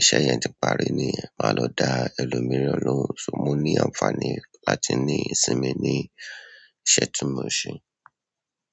iṣẹ́ yẹn ti parí nìyẹn màá lọ dá ẹlòmíràn lóhùn. So mò ní ànfàní láti ní ìsinmi ní iṣẹ́ tí mò ń ṣe.